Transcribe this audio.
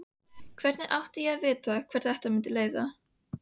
Hvernig átti ég að vita hvert þetta mundi leiða?